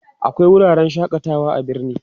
akwai wuraren shakatawa a birni